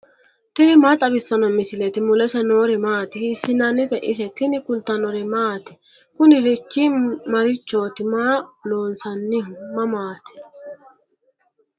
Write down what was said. tini maa xawissanno misileeti ? mulese noori maati ? hiissinannite ise ? tini kultannori maati? kunirichi marichooti? Maa loosanniho? Mamati?